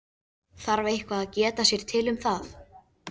Þarf eitthvað að geta sér til um það?